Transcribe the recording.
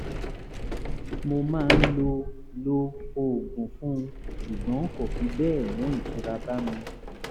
mo máa ń lo lo oògùn fún un ṣùgbọ́n kò fi bẹ́ẹ̀ mú ìtura bá mi